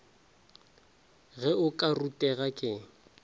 ge o ka rutega ke